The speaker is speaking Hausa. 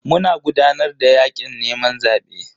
Muna gudanar da yakin neman zabe.